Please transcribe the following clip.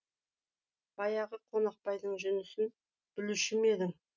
баяғы қонақбайдың жүнісін білуші ме едің